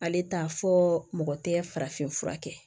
Ale t'a fɔ mɔgɔ tɛ farafin fura kɛ